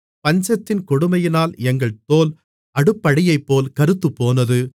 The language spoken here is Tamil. பஞ்சத்தின் கொடுமையினால் எங்கள் தோல் அடுப்படியைப்போல் கறுத்துப்போனது